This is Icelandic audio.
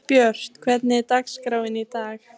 Björt, hvernig er dagskráin í dag?